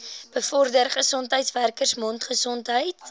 bevorder gesondheidswerkers mondgesondheid